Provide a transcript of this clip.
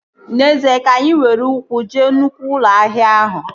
N'ezie, ka anyị were ụkwụ jee nnụkwụ ụlọ ahịa ahụ